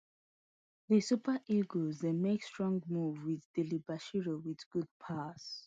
di super eagles dey make strong move wit delebashiru wit good pass